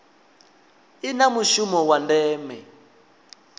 i na mushumo wa ndeme